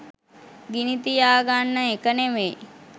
ගිනිතියා ගන්න එක නෙවෙයි.